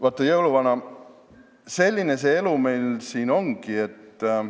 Vaata, jõuluvana, selline see elu meil siin ongi.